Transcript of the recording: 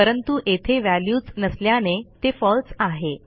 परंतु येथे व्हॅल्यूच नसल्याने ते फळसे आहे